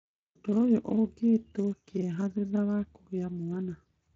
ũndũ ũyũ ũgĩĩtwo kĩeha kĩa thutha wa kũgĩa mwana.